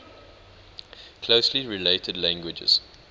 closely related languages